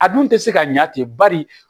A dun tɛ se ka ɲɛ ten bari